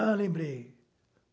Ah, lembrei.